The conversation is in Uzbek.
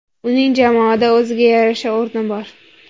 Uning jamoada o‘ziga yarasha o‘rni bor.